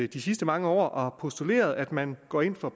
de sidste mange år og har postuleret at man går ind for